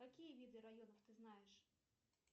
какие виды районов ты знаешь